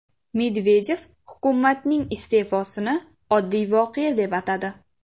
Medvedev hukumatning iste’fosini oddiy voqea deb atadi.